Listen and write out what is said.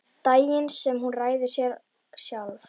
Daginn sem hún ræður sér sjálf.